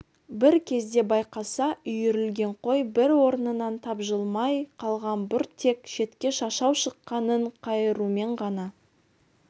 бір кезде байқаса үйірілген қой бір орнынан тапжылмай қалған бұл тек шетке шашау шыққанын қайырумен ғана